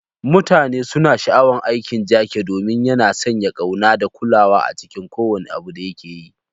Mutane suna sha'awar aikin Jake domin yana sanya ƙauna da kulawa a cikin kowane abu da yake yi.